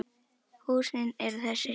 Húsin eru þessi